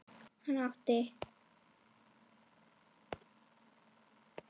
Hann átti